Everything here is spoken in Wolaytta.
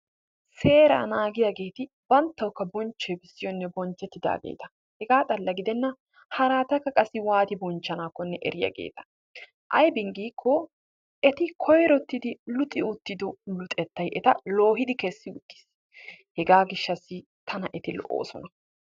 Seeraa naagiyageeti bonchchoyi bessiyonne banttawukka bonchchettidaageeta. Hegaa xalla gidenna haraatakka qassi waati bonchchanaakkonne eriyageeta. Aybin giikkoo eti koyrottidi luxi uttido luxettayi eta loohidi kessi uttis. Hegaa gishshaassi tana eti lo'oosona.